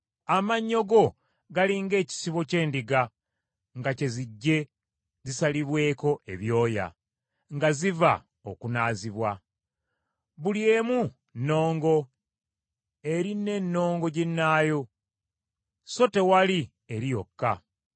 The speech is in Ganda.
Amannyo go gali ng’ekisibo ky’endiga nga kye zijje zisalibweko ebyoya, nga ziva okunaazibwa. Buli emu nnongo eri n’ennongo ginnaayo, so tewali eri yokka.